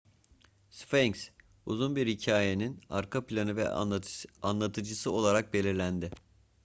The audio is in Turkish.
sfenks uzun bir hikayenin arka planı ve anlatıcısı olarak belirlendi